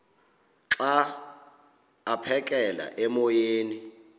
xa aphekela emoyeni